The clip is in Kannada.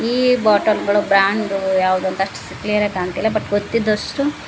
ಈ ಬಾಟಲ್ ಗಳು ಬ್ರಾಂಡ್ ಗಳು ಅಷ್ಟ್ ಕ್ಲಿಯರ್ಬಟ್ ಆಗಿ ಕಾಣ್ತಿಲ್ಲ ಗೊತ್ತಿದ್ದಷ್ಟು--